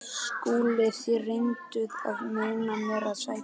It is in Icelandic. SKÚLI: Þér reynduð að meina mér að sækja